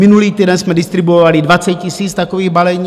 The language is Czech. Minulý týden jsme distribuovali 20 000 takových balení.